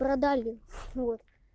продали ну вот